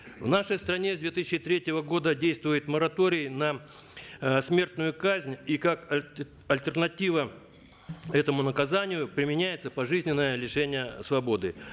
в нашей стране с две тысячи третьего года действует мораторий на э смертную казнь и как альтернатива этому наказанию применяется пожизненное лишение свободы